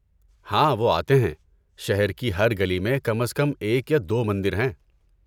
ہاں وہ آتے ہیں. شہر کی ہر گلی میں کم از کم ایک یا دو مندر ہیں۔